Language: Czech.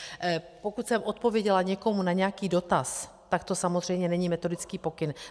Pokud jsem odpověděla někomu na nějaký dotaz, tak to samozřejmě není metodický pokyn.